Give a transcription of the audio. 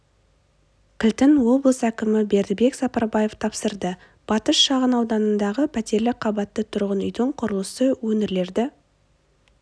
кілтін облыс кімі бердібек сапарбаев тапсырды батыс шағын ауданындағы птерлі қабатты тұрғын үйдің құрылысы өңірлерді